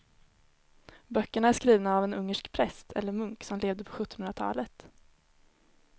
Böckerna är skrivna av en ungersk präst eller munk som levde på sjuttonhundratalet.